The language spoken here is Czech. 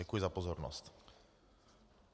Děkuji za pozornost.